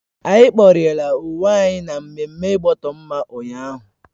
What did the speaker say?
Anyi kporiela onwe anyi na mmemme igboto mma ụnyaahụ